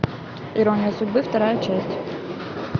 ирония судьбы вторая часть